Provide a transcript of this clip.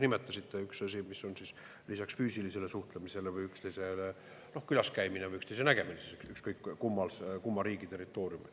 mis on siis lisaks füüsilisele suhtlemisele või üksteisel külas käimisele või üksteise nägemisele, ükskõik kumma riigi territooriumil.